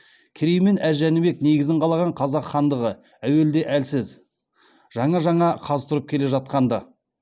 керей мен әз жәнібек негізін қалаған қазақ хандығы әуелде әлсіз жаңа жаңа қаз тұрып келе жатқан ды